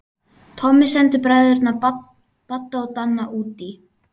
Tommi sendi bræðurna Badda og Danna útí